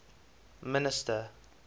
minister